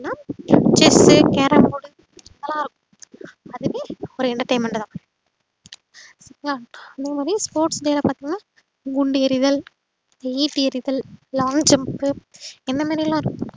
chess carrom board இதுலா இருக்கும் அதுவுமே ஒரு entertainment தான் இல்லையா அதுமாறி sports day ல பாத்திங்கன்னா குண்டு எறிதல் ஈட்டி எறிதல் long jump இந்தமாரிலா இருக்கு